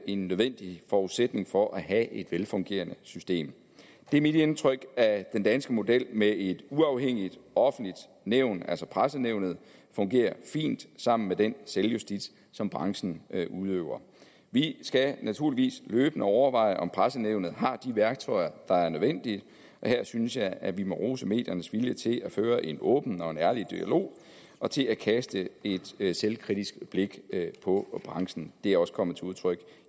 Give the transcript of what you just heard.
en nødvendig forudsætning for at have et velfungerende system det er mit indtryk at den danske model med et uafhængigt offentligt nævn altså pressenævnet fungerer fint sammen med den selvjustits som branchen udøver vi skal naturligvis løbende overveje om pressenævnet har de værktøjer der er nødvendige og her synes jeg at vi må rose mediernes vilje til at føre en åben og ærlig dialog og til at kaste et et selvkritisk blik på branchen det er også kommet til udtryk